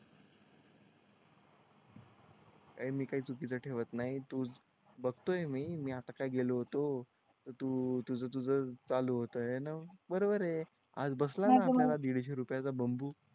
काय मी काय चुकीचं ठेवत नाही बघतोय मी मी आता गेलो होतो तर तू तुझं तुझंच चालू होतं हे ना बरोबर ये आज बसला ना दीडशे रुपयांचा बांबू